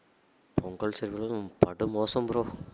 Pongal celebration லாம் படுமோசம் bro